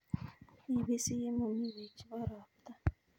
ipisi ye mami peek chebo ropta